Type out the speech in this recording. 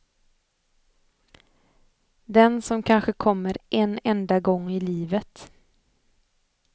Den som kanske kommer en enda gång i livet.